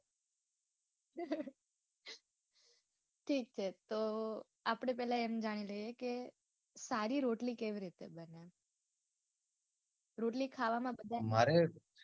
ઠીક છે તો આપડે પેલા એમ જાણી લઈએ કે સારી રોટલી કેવી રીતે બને. રોટલી ખાવા માં બધા. મારે,